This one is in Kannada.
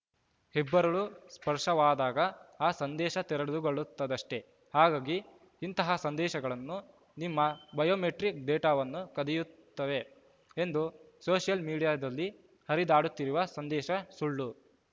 ಹೆಬ್ಬೆರಳು ಸ್ಪರ್ಶವಾದಾಗ ಆ ಸಂದೇಶ ತೆರೆದುಕೊಳ್ಳುತ್ತದಷ್ಟೆ ಹಾಗಾಗಿ ಇಂತಹ ಸಂದೇಶಗಳು ನಿಮ್ಮ ಬಯೋಮೆಟ್ರಿಕ್‌ ಡೇಟಾವನ್ನು ಕದಿಯುತ್ತವೆ ಎಂದು ಸೋಷಿಯಲ್‌ ಮಿಡಿಯಾದಲ್ಲಿ ಹರಿದಾಡುತ್ತಿರುವ ಸಂದೇಶ ಸುಳ್ಳು